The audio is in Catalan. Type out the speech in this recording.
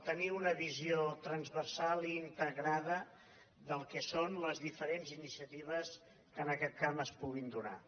tenir una visió transversal i integrada del que són les diferents iniciatives que en aquest camp es puguin donar